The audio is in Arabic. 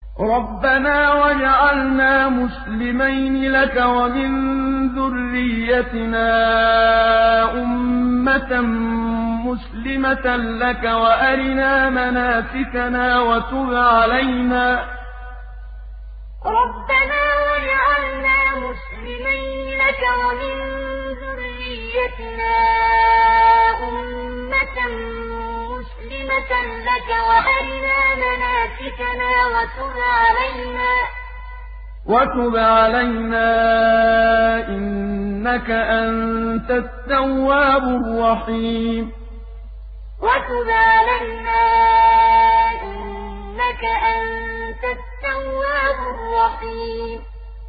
رَبَّنَا وَاجْعَلْنَا مُسْلِمَيْنِ لَكَ وَمِن ذُرِّيَّتِنَا أُمَّةً مُّسْلِمَةً لَّكَ وَأَرِنَا مَنَاسِكَنَا وَتُبْ عَلَيْنَا ۖ إِنَّكَ أَنتَ التَّوَّابُ الرَّحِيمُ رَبَّنَا وَاجْعَلْنَا مُسْلِمَيْنِ لَكَ وَمِن ذُرِّيَّتِنَا أُمَّةً مُّسْلِمَةً لَّكَ وَأَرِنَا مَنَاسِكَنَا وَتُبْ عَلَيْنَا ۖ إِنَّكَ أَنتَ التَّوَّابُ الرَّحِيمُ